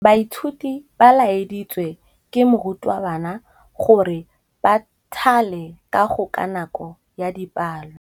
Baithuti ba laeditswe ke morutabana gore ba thale kagô ka nako ya dipalô.